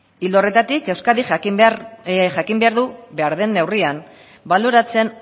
ildo horretatik euskadik jakin behar du behar den neurrian baloratzen